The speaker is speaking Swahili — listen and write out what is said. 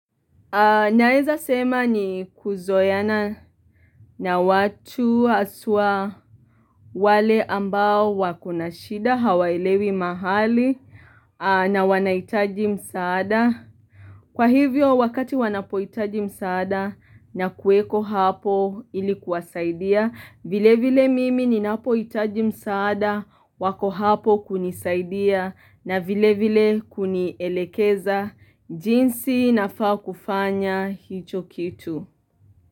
Naeza sema ni kuzoeana na watu haswa wale ambao wakonashida hawaelewi mahali na wanahitaji msaada. Kwa hivyo wakati wanapohitaji msaada na kueko hapo ilikuwasaidia. Vile vile mimi ninapohitaji msaada wako hapo kunisaidia na vile vile kunielekeza jinsi nafaa kufanya hicho kitu.